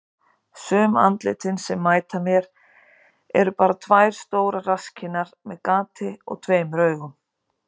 Sum andlitin sem mæta mér eru bara tvær stórar rasskinnar með gati og tveimur augum.